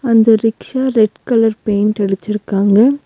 இந்த rickshaw red colour paint அடிச்சிருக்காங்க.